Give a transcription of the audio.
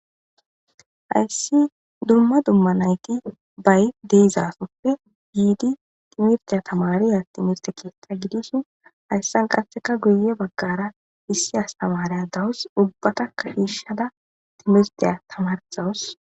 Hayssi dumma dumma na7i qiiba diizaagappe thimirththiya thamaariyaa thimirththe keeththaa gidishin hayssan qassika guyye baggaara issi asththaariya dawus; ubbathakka shiishshada thimirththiyaa thamaarissawus.